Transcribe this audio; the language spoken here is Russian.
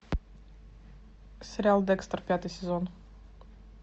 сериал декстер пятый сезон